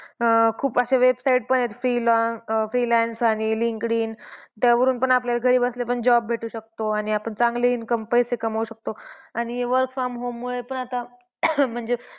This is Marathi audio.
अं खूप असे website पण आहेत फ्रीलान्स अं फ्रीलान्स आणि लींकडीन त्यावरून आपल्याला घरी बसल्या पण job भेटू शकतो आणि आपण चांगली income पैसे कमवू शकतो आणि work from home मुळे पण आता म्हणजे.